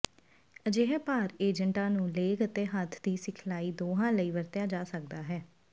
ਅਜਿਹੇ ਭਾਰ ਏਜੰਟਾਂ ਨੂੰ ਲੇਗ ਅਤੇ ਹੱਥ ਦੀ ਸਿਖਲਾਈ ਦੋਹਾਂ ਲਈ ਵਰਤਿਆ ਜਾ ਸਕਦਾ ਹੈ